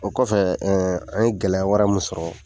O kɔfɛ , ɛɛ an ye gɛlɛya wɛrɛ min sɔrɔ